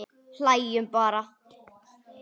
Hlæjum bara.